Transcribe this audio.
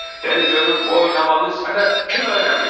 "Dey görüm bu oynamağı sənə kim öyrədib?"